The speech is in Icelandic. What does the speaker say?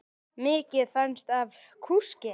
Mikið fannst af kúskel.